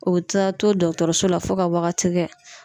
O be taa to dɔɔtɔrɔso la fo ka wagati kɛ